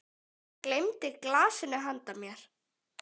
Hann gleymdi glasinu handa mér.